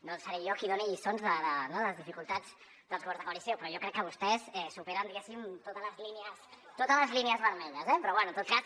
no seré jo qui doni lliçons de les dificultats dels governs de coalició però jo crec que vostès superen diguéssim totes les línies vermelles eh però bé en tot cas